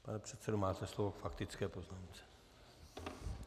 Pane předsedo, máte slovo k faktické poznámce.